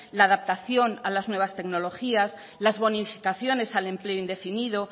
la adaptación a las nuevas tecnologías las bonificaciones al empleo indefinido